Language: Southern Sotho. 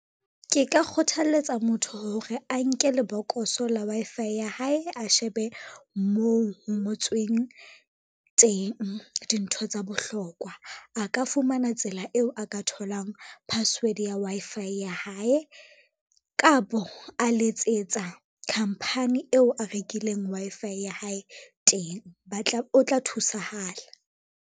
Ke ka kgothaletsa motho hore a nke lebokoso la Wi-Fi ya hae, a shebe moo ho ngotsweng teng dintho tsa bohlokwa. A ka fumana tsela eo a ka tholang password ya Wi-Fi ya hae, kapo a letsetsa khampani eo a rekileng Wi-Fi ya hae teng o tla thusahala.